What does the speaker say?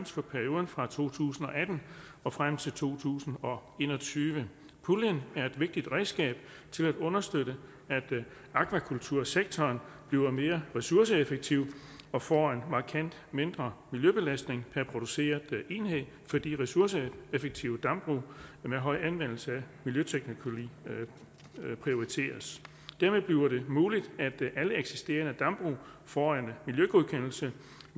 for perioden fra to tusind og atten og frem til to tusind og en og tyve puljen er et vigtigt redskab til at understøtte at akvakultursektoren bliver mere ressourceeffektiv og får en markant mindre miljøbelastning per produceret enhed fordi ressourceeffektive dambrug med høj anvendelse af miljøteknologi prioriteres dermed bliver det muligt at alle eksisterende dambrug får en miljøgodkendelse